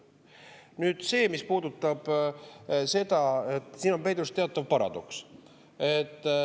Nüüd see, mis puudutab seda, et siin on peidus teatav paradoks.